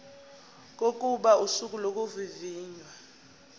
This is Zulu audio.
kokuba usuku lokuvivinywa